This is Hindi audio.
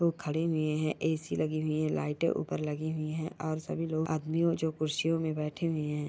लोग खड़े हुए हैं ए.सी. लगी हुई है लाइटें ऊपर लगी हुई है और सभी लोग आदमियों जो कुर्सीयों में बैठे हुए हैं।